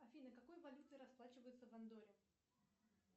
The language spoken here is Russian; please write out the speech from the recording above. афина какой валютой расплачиваются в андорре